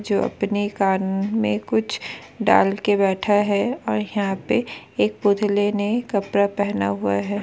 जो अपने कान में कुछ डाल के बैठा है। और यहाँ पे एक पुतले ने कपड़ा पहना हुआ है।